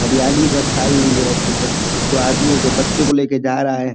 हरयाली इधर छाई हुई है एक ब एक ठो आदमी है जो बच्चे को ले कर जा रहा है।